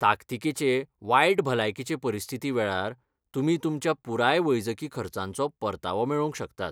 ताकतीकेचे वायट भलायकीचे परिस्थितीवेळार, तुमी तुमच्या पुराय वैजकी खर्चांचो परतावो मेळोवंक शकतात.